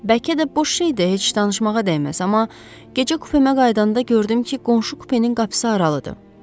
Bəlkə də boş şeydir, heç danışmağa dəyməz, amma gecə kupemə qayıdanda gördüm ki, qonşu kupenin qapısı aralıdır.